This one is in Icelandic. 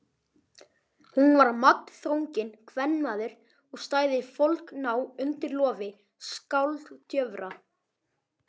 Hún var magnþrunginn kvenmaður og stæði foldgná undir lofi skáldjöfra.